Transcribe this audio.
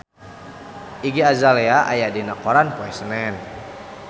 Iggy Azalea aya dina koran poe Senen